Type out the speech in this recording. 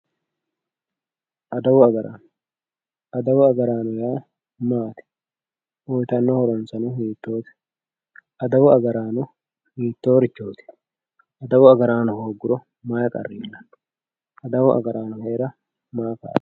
Aduwu agarano adawu agarano yaa maati uyitano horoseno hitoote adawu agarano hitorichoti aduwu agarano hooguro mayi qari iilano aduwu agarano heera maa kalitano.